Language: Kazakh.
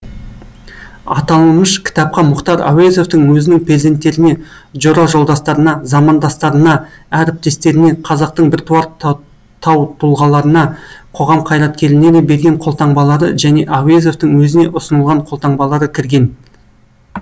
аталымыш кітапқа мұхтар әуезовтің өзінің перзенттеріне жора жолдастарына замандастарына әріптестеріне қазақтың біртуар таутұлғаларына қоғам қайраткерлеріне берген қолтаңбалары және әуезовтің өзіне ұсынылған қолтаңбалары кірген